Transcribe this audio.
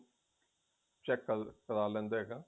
check ਕਰ ਕਰ ਲੈਂਦਾ ਹੈਗਾ